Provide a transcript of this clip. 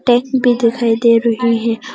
Tank भी दिखाई दे रहे हैं।